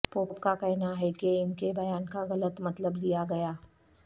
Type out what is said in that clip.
pope کا کہنا ہے کہ ان کے بیان کا غلط مطلب لیا گیا